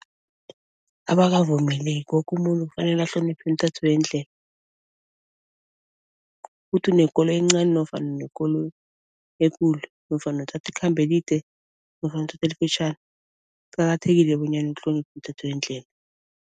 Abakavumeleki, woke umuntu kufanele ahloniphe imithetho yendlela. Ukuthi unekoloyi encani nofana unekoloyi ekulu, nofana uthatha ikhambo elide nofana uthatha elifitjhani kuqakathekile bonyana uhloniphe imithetho yendlela.